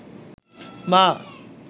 মা